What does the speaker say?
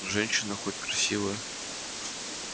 женщина хоть красивая